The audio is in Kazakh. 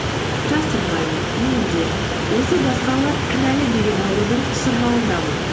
жасырмаймын мен де осы басқалар кінәлі деген аурудың шырмауындамын